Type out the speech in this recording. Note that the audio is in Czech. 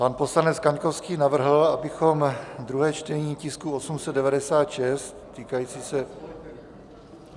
Pan poslanec Kaňkovský navrhl, abychom druhé čtení tisku 896 týkající se...